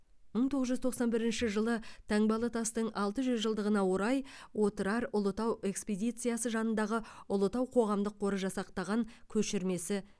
мың тоғыз жүз тоқсан бірінші жылы таңбалытастың алты жүз жылдығына орай отырар ұлытау экспедициясы жанындағы ұлытау қоғамдық қоры жасақтаған көшірмесі